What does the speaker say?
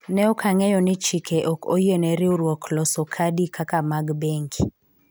ne ok ang'eyo ni chike ok oyiene riwruok loso kadi kaka mag bengi